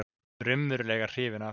Raunverulega hrifinn af.